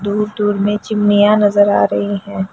दूर-दूर में चिमनियाँ नजर आ रही है।